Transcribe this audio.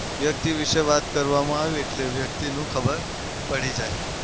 વ્યક્તિ વિશે વાત કરવામાં આવે એટલે વ્યક્તિનું ખબર પડી જાય.